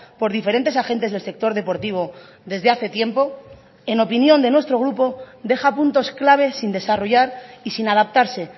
por diferentes agentes del sector deportivo desde hace tiempo en opinión de nuestro grupo deja puntos clave sin desarrollar y sin adaptarse